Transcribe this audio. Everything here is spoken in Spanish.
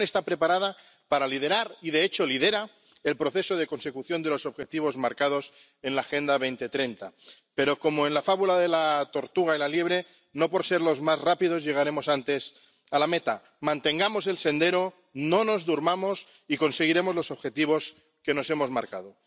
La Unión está preparada para liderar —y, de hecho, lidera— el proceso de consecución de los Objetivos marcados en la Agenda 2030, pero como en la fábula de la tortuga y la liebre no por ser los más rápidos llegaremos antes a la meta. Mantengamos el sendero, no nos durmamos y conseguiremos los objetivos que nos hemos marcado.